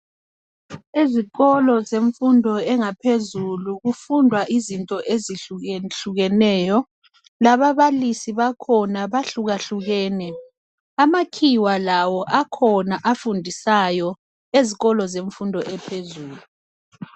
Izikolo zemfundo kufundwa izinto ezihlukehlukeneyo. Lababalisi bakhona labo bahlukahlukene. Amakhiwa lawo akhona afundisayo ezikolo zemfundo yaphezulu.